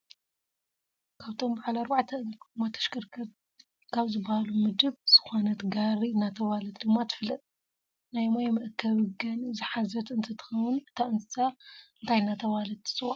ካብቶም ብዓል ኣርባዕተ እግሪ ጎማ ተሽከርካርቲ ካብ ዝብሃሉ ምደብ ዝኮነትጋሪ እናተባህለት ድማ ትፍለጥ። ናይ ማይ መአከቢ ገኒ ዝሓዘት እንትትከውን እታ እንስሳ እንታይ እናተባህለት ትፅዋዕ ?